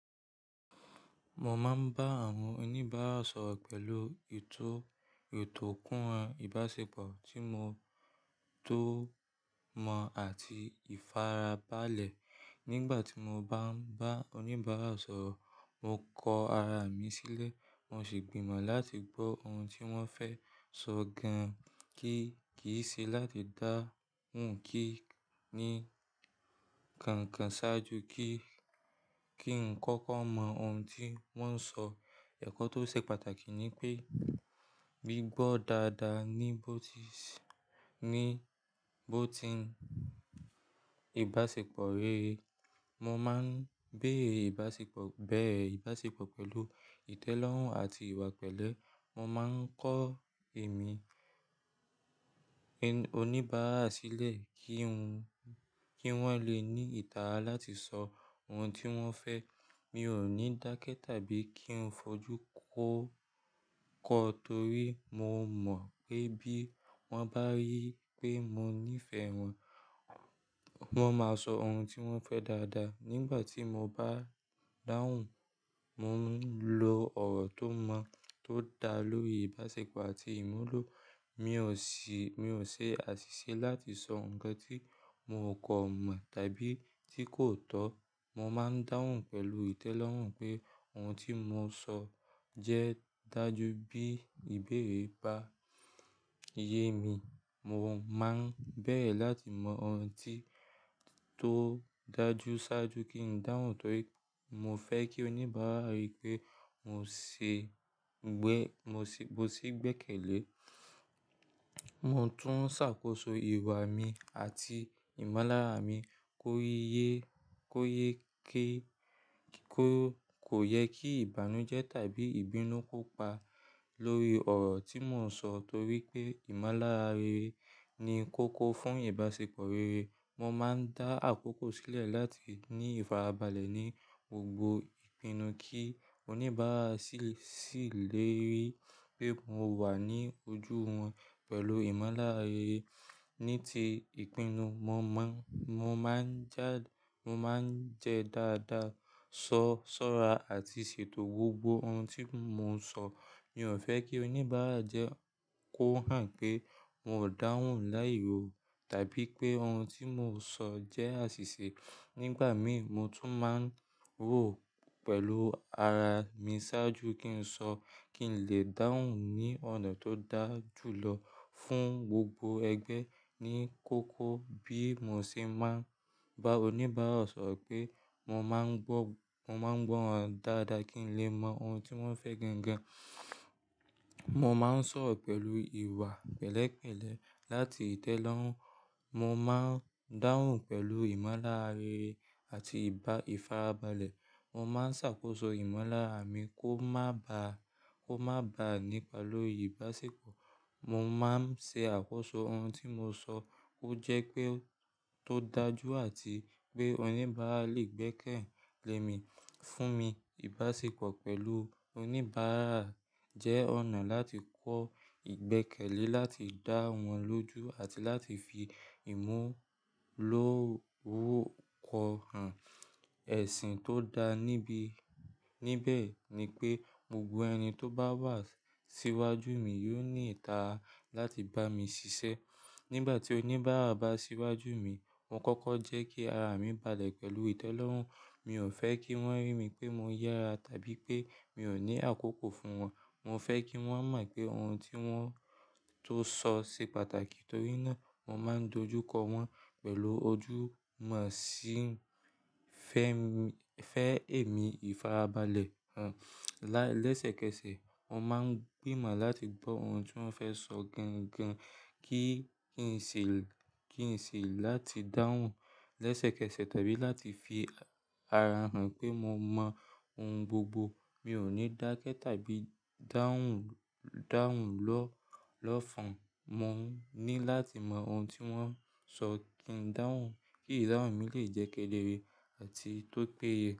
Mo máa ń bá àwọn oníbàárà sọ̀rọ̀ pẹ̀lú ètò, ètò kúnra ìbáṣepọ̀ tí mo tó mọ̀ àti ìfarabalẹ̀. Nígbàtí mo bá ń bá oníbàárà sọ̀rọ̀, mo kọ ara mi sílẹ̀, mo sì gbìmọ̀ láti gbọ́ ohun tí wọ́n fẹ́ sọ gan-an, kí kì í ṣe láti dáhùn kí ni kankan ṣáájú kí, kí n kọ́kọ́ mọ ohun tí wọ́n ń sọ. Ẹ̀kọ́ tó ṣe pàtàkì ni pé bí gbọ́ dáadáa ni bó ti sí, ni bó ti ń, ìbáṣepọ̀ réré. Mo má ń béèrè ìbáṣepọ̀, bẹ̀rẹ̀ ìbáṣepọ̀ pẹ̀lú ìtẹ́lọ́rùn àti ìwà pẹ̀lẹ́. Mo má ń kọ èmi, ẹ́n, oníbàárà sílẹ̀ kí n, kí wọ́n le ní ìtara láti sọ ohun tí wọ́n fẹ́. Mi ò ní dákẹ́ tàbí kí n fojú kó, kọ torí mo mọ̀ pé bí wọ́n bá rí i pé mo nífẹ̀ẹ́ wọn, wọ́n máa sọ ohun tí wọ́n fẹ́ dáadáa. Nígbà tí mo bá ń dáhùn, mo ń lo ọ̀rọ̀ tó mọ́, tó dáa lórí ìbáṣepọ̀ àti ìmúlò. Mi ò ṣi, mi ò ṣe àṣìṣe láti sọ ǹkan tí mò kọ mọ̀ tàbí tí kò tọ́. Mo má ń dáhùn pẹ̀lú ìtẹ́lọ́rùn pé ohun tí mò ń sọ jẹ́ dájú bí ìbéèrè bá yẹ mí. Mo má ń bẹ̀ẹ̀ láti mọ ohun tí tó dájú ṣáájú kí n dáhùn torí mo fẹ́ kí oníbàárà rí i pé mò ṣe gbẹ, mò ṣe, mo ṣí gbẹ́kẹ̀lé. Mo tún ṣàkóso ìwà mi àti ìmọ́lára mi kó yẹ, kó yẹ kí, kó kò yẹ kí ìbànújẹ́ tàbí ìbínú kó pa lórí ọ̀rọ̀ tí mò ń sọ torí pé ìmọ́lára rere ni kókó fún ìbáṣepọ̀ rere. Mo má ń dá àkókò sílẹ̀ láti ní ìfarabalẹ̀ ní gbogbo ìpinnu kí oníbàárà sì, sì lè rí i pé mò wà ní ojú wọn pẹ̀lú ìmọ́lára rere. Ní ti ìpinnu, mo mọ́, mo má ń já, mo má ń jẹ dáadáa, sọ, sọ́ra àti ṣètò gbogbo ohun tí mò ń sọ. Mi ò fẹ́ kí oníbàárà jẹ́ kó hàn pé mò dáhùn láìró tàbí pé ohun tí mò ń sọ jẹ́ àṣìṣe. Nígbà mí mo tún má ń rò pẹ̀lú ara mi ṣáájú kí n sọ kí n lè dáhùn ní ọ̀nà tó dá jù lọ fún gbogbo ẹgbẹ́ ní kókó. Bí mò ṣe má ń bá oníbàárà sọ̀rọ̀ pé mò má ń gbọ́, mò má ń gbọ́ wọn dáadáa kí n lè mọ ohun tí wọ́n fẹ́ gan-an. Mo má ń sọ̀rọ̀ pẹ̀lú ìwà pẹ̀lẹ́ pẹ̀lẹ́ láti ìtẹ́lọ́rùn. Mo má ń dáhùn pẹ̀lú ìmọ́lára rere àti ìbá, ìfarabalẹ̀. Mo má ń ṣàkóso ìmọ́lára mi kó má ba, kó má ba nípa lórí ìbáṣepọ̀. Mo má ń ṣe àkóso ohun tí mò ń sọ kó jẹ́ pé ó tó dájú àti pé oníbàárà lè gbẹ́kẹ̀lé mi, fún mi. Ìbáṣepọ̀ pẹ̀lú oníbàárà jẹ́ ọ̀nà láti kọ́ gbẹ́kẹ̀lé, láti dá wọn lójú àti láti fi ìmú lóró kọ ẹsìn tó dáa níbi. Níbẹ̀ ni pé gbogbo ẹni tó bá wà síwájú mi yóò ní ìtara láti bá mi ṣiṣẹ́. Nígbà tí oníbàárà bá síwájú mi, mo kọ́kọ́ jẹ́ kí ara mi balẹ̀ pẹ̀lú ìtẹ́lọ́rùn. Mi ò fẹ́ kí wọ́n rí i pé mo yára tàbí pé mi ò ní àkókò fún wọn. Mo fẹ́ kí wọn mọ̀ pé ohun tí wọ́n ò ṣe pàtàkì, nítorí ná mo máa dojúkọ wọ́n pẹ̀lú ojú mo sì fẹ́ èmi ìfara balẹ̀ la. Lẹ́sẹ̀kẹsẹ̀, wọn má ń gbìmọ̀ láti gbọ́ ohun tí wọ́n fẹ́ sọ gangan kí, kí n ṣe, kí n ṣe láti dáhùn lẹ́sẹ̀kẹsẹ̀ tàbí láti fi ara hàn pé mo mọ ohun gbogbo. Mi ò ní dákẹ́ tàbí dáhùn, dáhùn lọ́, lọ́fọn. Mo ní láti mọ ohun tí wọ́n sọ kí n dáhùn, kí ìdáhùn mi lè jẹ́ kẹ́dẹ́re àti tó péye.